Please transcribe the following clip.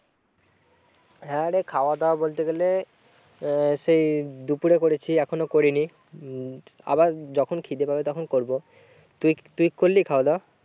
হ্যাঁ রে খাওয়া দাওয়া বলতে গেলে আহ সেই দুপুরে করেছি এখনো করিনি। উম আবার যখন খিদে পাবে তখন করবো। তুই তুই করলি খাওয়া দাওয়া?